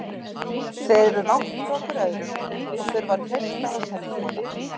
Þeir eru langt frá hver öðrum og þurfa að treysta á sendiboða.